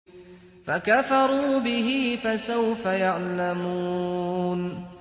فَكَفَرُوا بِهِ ۖ فَسَوْفَ يَعْلَمُونَ